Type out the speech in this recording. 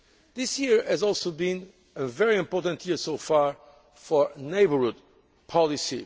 region. This year has also been a very important year so far for neighbourhood